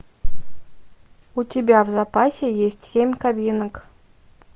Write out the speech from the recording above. у тебя в запасе есть семь кабинок